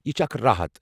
یہ چھِ اکھ راحت۔